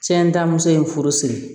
Cɛ ntamuso ye furu siri